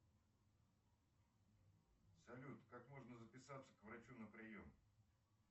салют как можно записаться к врачу на прием